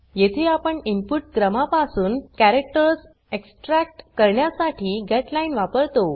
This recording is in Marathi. येथे आपण इनपुट क्रमा पासून कॅरेक्टर्स एक्सट्रॅक्ट करण्यासाठी गेटलाईन वापरतो